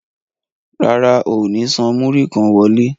Rárá, o ò ní san múrí kan owó ilé.